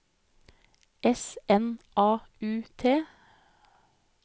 S N A U T